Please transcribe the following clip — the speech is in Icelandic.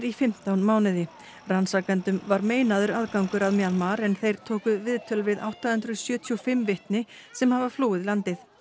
í fimmtán mánuði rannsakendum var meinaður aðgangur að Mjanmar en þeir tóku viðtöl við átta hundruð sjötíu og fimm vitni sem hafa flúið landið